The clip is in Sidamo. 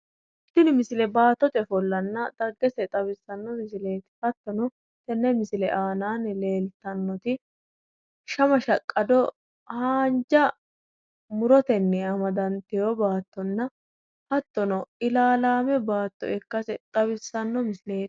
Tini misile baattote ofollanna dhaggese xawissanno misileeti hattono tenne misile aanaanni leeltannoti shama shaqqado haanja murotenni amdantino baattonna hattono ilaalaame baatto ikkase xawissanno misileeti